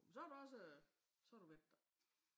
Men så har du også øh så har du været der